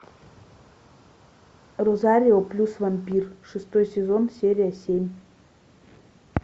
розарио плюс вампир шестой сезон серия семь